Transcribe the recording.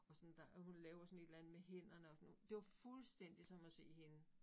Og sådan der og hun laver sådan et eller andet med hænderne og sådan noget. Det var fuldstændig som at se hende